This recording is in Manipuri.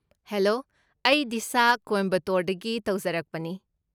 ꯍꯦꯂꯣ! ꯑꯩ ꯗꯤꯁꯥ ꯀꯣꯏꯝꯕꯇꯣꯔꯗꯒꯤ ꯇꯧꯖꯔꯛꯄꯅꯤ ꯫